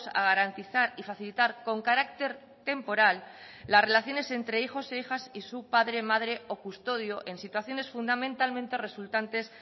a garantizar y facilitar con carácter temporal las relaciones entre hijos e hijas y su padre madre o custodio en situaciones fundamentalmente resultantes